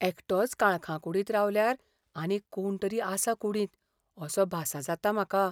एकटोच काळखा कुडींत रावल्यार आनीक कोण तरी आसा कुडींत असो भासा जाता म्हाका.